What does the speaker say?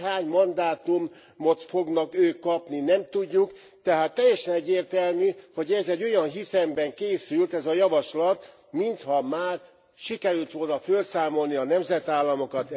Hogy hány mandátumot fognak ők kapni, nem tudjuk, tehát teljesen egyértelmű, hogy ez egy olyan hiszemben készült javaslat, mintha már sikerült volna fölszámolni a nemzetállamokat.